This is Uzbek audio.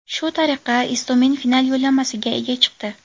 Shu tariqa Istomin final yo‘llanmasiga ega chiqdi.